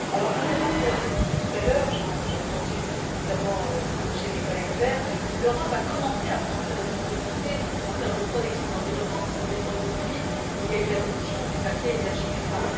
Contrairement à ce qui a été dit tout à l'heure, notamment chez mes collègues Verts, l'Europe a commencé à prendre ses responsabilités en termes de protection de l'environnement puisqu'en décembre 2008 il y a eu l'adoption du paquet Énergie climat.